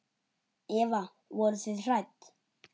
Eva: Voruð þið hrædd?